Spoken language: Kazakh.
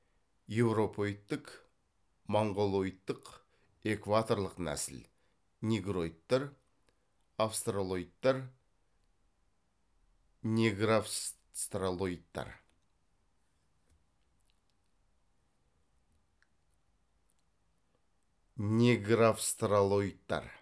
еуропоидтік моңғолоидтік экваторлық нәсіл негроидтар австралоидтар негравстралоидтар